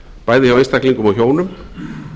bæði hjá einstaklingum og hjónum